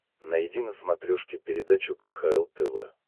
найди на смотрешке передачу кхл тв